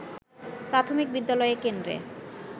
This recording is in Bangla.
প্রাথমিক বিদ্যালয় কেন্দ্রে